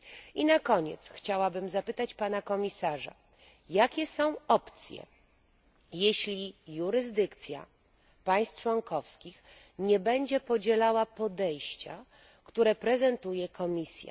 I na koniec chciałabym zapytać pana komisarza, jakie są opcje, jeśli jurysdykcja państw członkowskich nie będzie podzielała podejścia, które prezentuje Komisja.